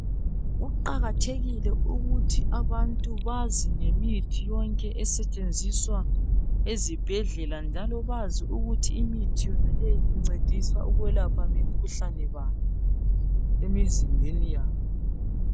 Kuqakathekile ukuthi abantu bazi ngemithi yonke esetshenziswa ezibhedlela njalo bazi ukuthi imithi yonaleyi incedisa ukwelapha mikhuhlane bani emizimbeni yabo.